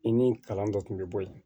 I ni kalan dɔ tun be bɔ yen